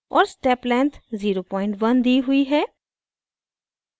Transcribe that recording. और step length 01 दी हुई है